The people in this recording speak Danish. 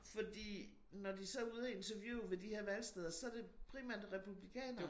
Fordi når de så er ude og interviewe ved de her valgsteder så det primært repulblikanere